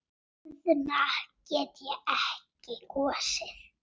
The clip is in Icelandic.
Guðna get ég ekki kosið.